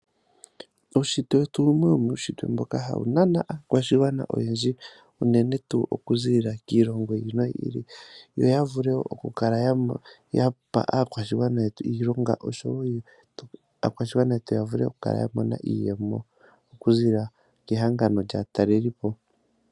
Uunshitwe wetu owumwe womuushintwe mboka ha wu nana aakwashigwana oyendji unene tuu okuziilila kiilongo yi ili noyi ili, yo ya vule okukala ya pa aakwashigwana yetu iilonga osho woo aakwashigwana yetu ya vule oku kala ya mona iiyemo okuzilila kehangano lyaatalelipo.